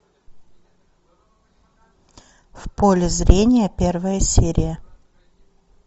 в поле зрения первая серия